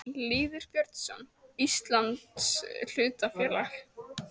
Lýður Björnsson: Íslands hlutafélag.